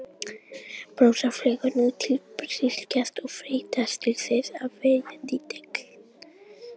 Brassar fljúga nú til Þýskalands og freistast til þess að verja titilinn.